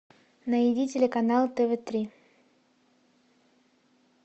найди телеканал тв три